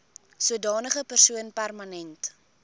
sodanige persoon permanent